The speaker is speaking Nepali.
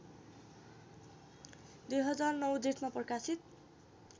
२००९ जेठमा प्रकाशित